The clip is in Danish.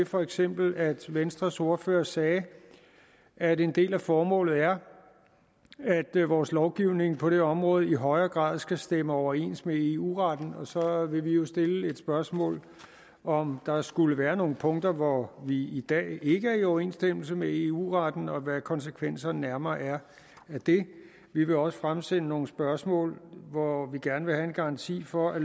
for eksempel ved at venstres ordfører sagde at en del af formålet er at vores lovgivning på det område i højere grad skal stemme overens med eu retten og så vil vi jo stille det spørgsmål om der skulle være nogle punkter hvor vi i dag ikke er i overensstemmelse med eu retten og hvad konsekvenserne nærmere er af det vi vil også fremsende nogle spørgsmål hvor vi gerne vil have en garanti for at